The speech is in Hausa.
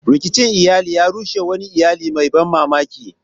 Rikicin iyali ya rushe wannan iyali mai ban mamaki.